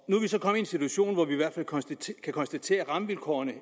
er vi så kommet i en situation hvor vi kan konstatere at rammevilkårene i